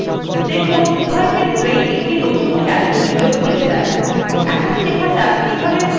দেখুন উভয় ক্ষেত্রেই একটি নতুন calc window খুলে যায়